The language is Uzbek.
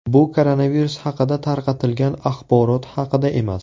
Bu koronavirus haqida tarqatilgan axborot haqida emas.